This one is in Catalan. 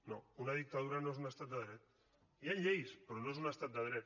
no una dictadura no és un estat de dret hi han lleis però no és un estat de dret